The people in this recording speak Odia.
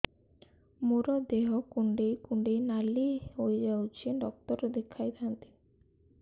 ମୋର ଦେହ କୁଣ୍ଡେଇ କୁଣ୍ଡେଇ ନାଲି ହୋଇଯାଉଛି ଡକ୍ଟର ଦେଖାଇ ଥାଆନ୍ତି